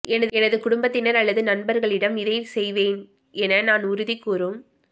எனது குடும்பத்தினர் அல்லது நண்பர்களிடம் இதை செய்வேன் என நான் உறுதி கூறும்